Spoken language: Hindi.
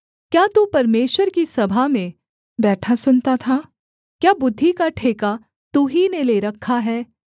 क्या तू परमेश्वर की सभा में बैठा सुनता था क्या बुद्धि का ठेका तू ही ने ले रखा है